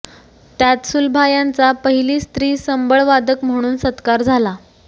त्यात सुलभा यांचा पहिली स्त्री संबळवादक म्हणून सत्कार झाला